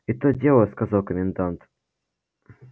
и то дело сказал комендант